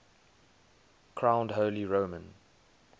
crowned holy roman